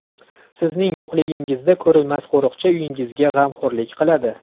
Sizning yo‘qligingizda ko‘rinmas qo‘riqchi uyingizga g‘amxo‘rlik qiladi.